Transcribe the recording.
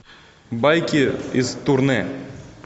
байки из турне